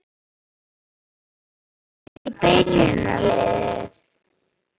Kæmist hann í byrjunarliðið?